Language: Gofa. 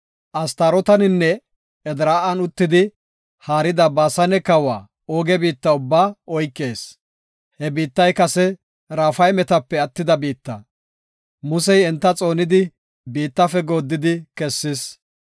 Astarooteninne Edraa7an uttidi, haarida Baasane kawa Ooge biitta ubbaa oykees; He biittay kase Raafaymetape attida biitta. Musey enta xoonidi biittafe gooddidi kessis.